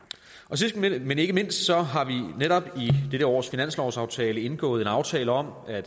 sidst men men ikke mindst har vi netop i dette års finanslovsaftale indgået en aftale om at